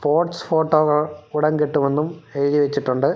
Pots ഫോട്ടോകൾ ഉടൻ കിട്ടുമെന്നും എഴുതി വെച്ചിട്ടുണ്ട്.